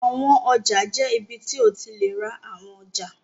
Àwọn ọjà jẹ́ ibi tí o ti lè ra àwọn ọjà.